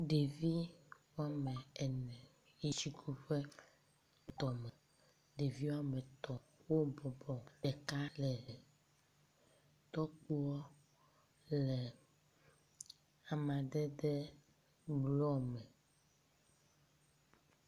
Ɖevi woamene yi etsi ku ƒe tɔme. Ɖevi woametɔ̃ wobɔbɔ eka aɖe hem. Tɔkpo le amadede blɔ me